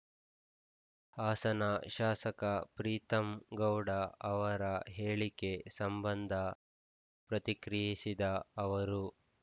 ಹಾಸನ ಶಾಸಕ ಪ್ರೀತಂ ಗೌಡ ಅವರ ಹೇಳಿಕೆ ಸಂಬಂಧ ಪ್ರತಿಕ್ರಿಯಿಸಿದ ಅವರು